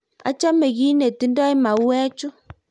achame kiit nengutindoo mauwechuu